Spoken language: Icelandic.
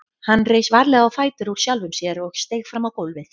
Hann reis varlega á fætur úr sjálfum sér og steig fram á gólfið.